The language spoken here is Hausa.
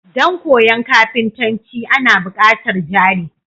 Dan koyan kafintanci Ana bukatar jari